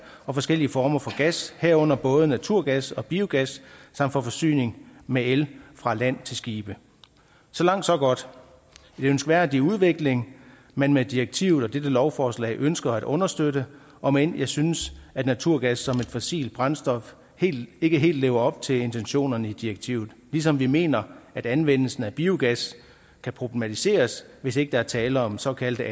og forskellige former for gas herunder både naturgas og biogas samt for forsyningen med el fra land til skibe så langt så godt en ønskværdig udvikling man med direktivet og dette lovforslag ønsker at understøtte om end jeg synes at naturgas som et fossilt brændstof ikke helt lever op til intentionerne i direktivet ligesom vi mener at anvendelsen af biogas kan problematiseres hvis ikke der er tale om såkaldte